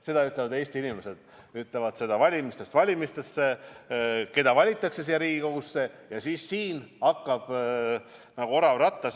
Seda ütlevad Eesti inimesed, nemad ütlevad valimistest valimistesse, kes valitakse siia Riigikogusse ja kes hakkab nagu orav rattas tegutsema.